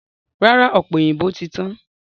Rárá, ọ̀pẹ̀ òyìnbó ti tán.